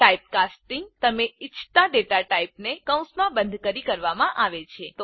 typecasting તમે ઈચ્છતા data ટાઇપને કૌસમાં બંધ કરી કરવામાં આવે છે